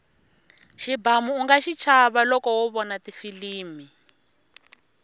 xibamu unga xichava loko wo vona tifilimi